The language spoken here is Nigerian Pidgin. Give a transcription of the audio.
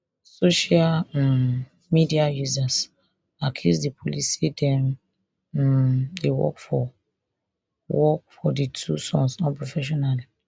social um media users accuse di police say dem um dey work for work for di two sons unprofessionally